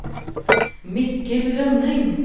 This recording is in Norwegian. Mikkel Rønning